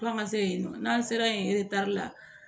Fo an ka se yen nɔ n'an sera yen la